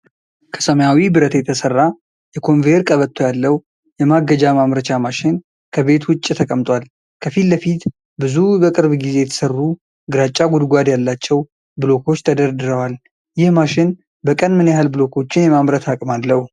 ከሰማያዊ ብረት የተሰራ የኮንቬየር ቀበቶ ያለው የማገጃ ማምረቻ ማሽን ከቤት ውጪ ተቀምጧል። ከፊት ለፊት ብዙ በቅርብ ጊዜ የተሰሩ ግራጫ ጉድጓድ ያላቸው ብሎኮች ተደርድረዋል። ይህ ማሽን በቀን ምን ያህል ብሎኮችን የማምረት አቅም አለው?